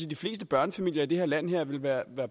de fleste børnefamilier i det her land ville være